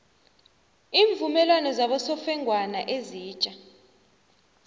iimvumelwano zabosofengwana ezitja